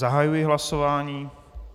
Zahajuji hlasování.